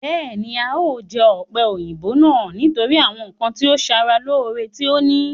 Bẹ́ẹ̀ni, a o jẹ ọ̀pẹ̀-òyìnbò náà nítorí àwọn ǹkan tí ó ń sara lore tí ó ní